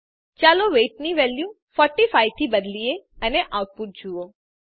ચાલો વેઇટ ની વેલ્યુ 45 થી બદલીએ અને આઉટપુટ જુઓ